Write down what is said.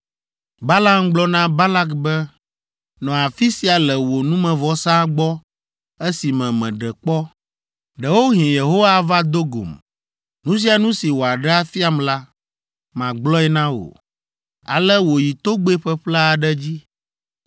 Balaam gblɔ na Balak be, “Nɔ afi sia le wò numevɔsa gbɔ esime meɖe kpɔ. Ɖewohĩ Yehowa ava do gom. Nu sia nu si wòaɖe afiam la, magblɔe na wò.” Ale wòyi togbɛ ƒeƒle aɖe dzi.